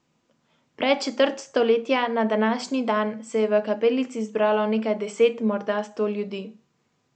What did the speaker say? Pred četrt stoletja, na današnji dan, se je v Kapelici zbralo nekaj deset, morda sto ljudi.